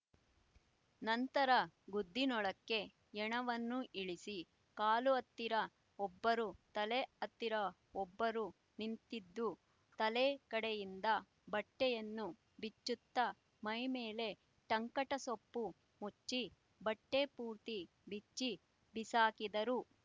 ನಂತರ ಗುದ್ದಿನೊಳಕ್ಕೆ ಹೆಣವನ್ನು ಇಳಿಸಿ ಕಾಲುಹತ್ತಿರ ಒಬ್ಬರು ತಲೆಹತ್ತಿರ ಒಬ್ಬರು ನಿಂತಿದ್ದು ತಲೆ ಕಡೆಯಿಂದ ಬಟ್ಟೆಯನ್ನು ಬಿಚ್ಚುತ್ತಾ ಮೈ ಮೇಲೆ ಟಂಕಟಸೊಪ್ಪು ಮುಚ್ಚಿ ಬಟ್ಟೆ ಪೂರ್ತಿ ಬಿಚ್ಚಿ ಬಿಸಾಕಿದರು